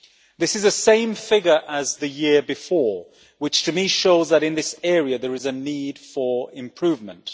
This is the same figure as the year before, which to me shows that in this area there is a need for improvement.